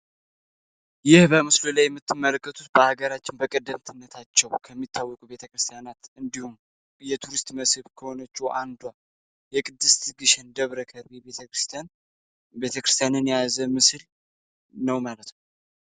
ይህ በምስሉ ላይ የምትመለከቱት በሀገራችን በቀደምትነታቸው ከሚታወቁ ቤተክርስቲያናት እንዲሁም እየቱሪስት መስህብ ከሆነች አንዷ የቅድስት ግሽን ደብረ ከርቢ ቤተክርስን ቤተክርስቲያንን ያያዘ ምስል ነው ማለት ነው፡፡